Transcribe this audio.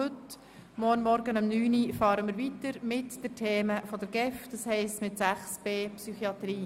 Morgen um 9.00 Uhr fahren wir weiter mit den Themen der GEF, das heisst mit dem Themenblock 6.b Psychiatrie.